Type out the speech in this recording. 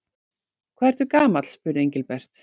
Hvað ertu gamall? spurði Engilbert.